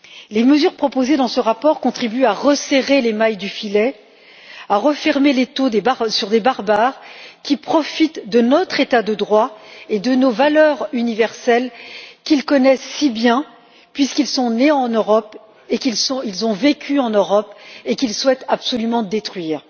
Les mesures proposées dans ce rapport contribuent à resserrer les mailles du filet, à refermer l'étau sur des barbares qui profitent de notre état de droit et de nos valeurs universelles qu'ils connaissent si bien, puisqu'ils sont nés en Europe et qu'ils ont vécu en Europe, et qu'ils souhaitent absolument détruire.